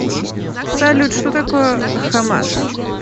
салют что такое хамас